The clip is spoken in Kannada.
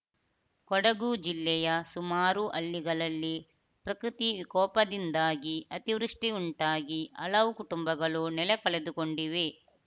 ಕೊಡಗು ಜಿಲ್ಲೆಯ ಸುಮಾರು ಹಳ್ಳಿಗಳಲ್ಲಿ ಪ್ರಕೃತಿ ವಿಕೋಪದಿಂದಾಗಿ ಅತಿವೃಷ್ಟಿಉಂಟಾಗಿ ಹಲವು ಕುಟುಂಬಗಳು ನೆಲೆ ಕಳೆದುಕೊಂಡಿವೆ